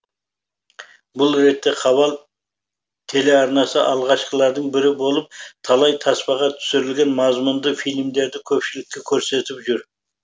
бұл ретте хабар телеарнасы алғашқылардың бірі болып талай таспаға түсірілген мазмұнды фильмдерді көпшілікке көрсетіп жүр